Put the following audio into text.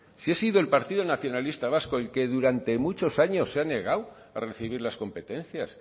si ha sido el partido nacionalista vasco el que durante muchos años se ha negado a recibir las competencias